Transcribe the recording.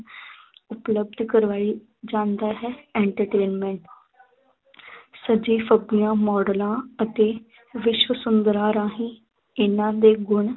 ਉਪਲੱਭਧ ਕਰਵਾਈ ਜਾਂਦਾ ਹੈ entertainment ਸੱਜੀ ਫੱਬੀਆਂ ਮਾਡਲਾਂ ਅਤ ਵਿਸ਼ਵ ਸੁੰਦਰਾ ਰਾਹੀਂ ਇਹਨਾਂ ਦੇ ਗੁਣ